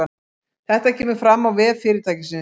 Þetta kemur fram á vef fyrirtækisins